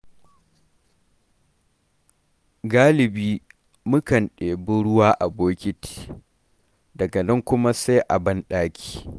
Galibi mukan ɗebi ruwa a bokiti, daga nan kuma sai banɗaki.